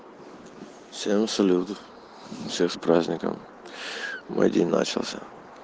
всем салют всех с праздником мой день начался